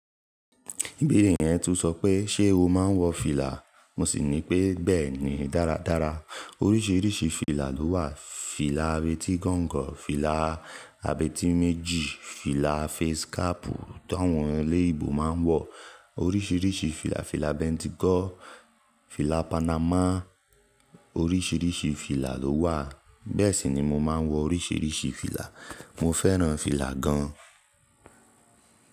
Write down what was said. Ibère yẹn tún sọ pé ṣé o máa ń wọ fìlà? Mo sì ní pé bẹ́ẹ̀ni dáradára. Oríṣiríṣi fìlà ló wà. Fìlà abetí gọ́ǹgọ̀, fìlà abetí méjì, fìlà fesikáàpù tó àwọn ẹlẹ́ ìbò máa ń wọ̀. Oríṣiríṣi fìlà, fìlà bentikọ́, fìlà panamà. Oríṣiríṣi fìlà ló wà, bẹ́ẹ̀ sì ni mo máa ń wọ oríṣiríṣi fìlà. Mo fẹ́ràn fìlà gan.